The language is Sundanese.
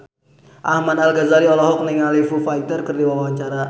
Ahmad Al-Ghazali olohok ningali Foo Fighter keur diwawancara